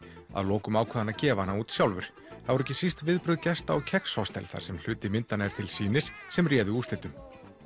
að lokum ákvað hann að gefa hana út sjálfur það voru ekki síst viðbrögð gesta á kex þar sem hluti myndanna er til sýnis sem réðu úrslitum